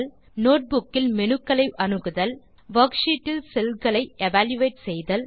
notebook இல் menu க்களை அணுகுதல் வர்க்ஷீட் இல் செல் களை எவல்யூயேட் செய்தல்